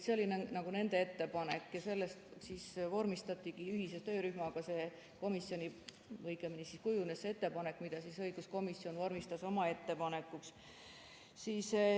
See oli nende ettepanek ja sellest kujunes see ettepanek, mille õiguskomisjon vormistas oma ettepanekuna.